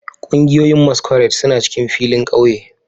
Kungiyoyin masquerade suna cikin filin kauye